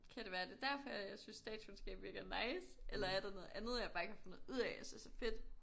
Kan det være det er derfor jeg synes statskundskab virker nice eller er der noget andet jeg bare ikke har fundet ud af jeg synes er fedt